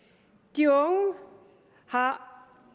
de unge har